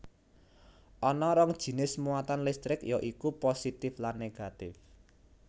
Ana rong jinis muatan listrik ya iku positif lan negatif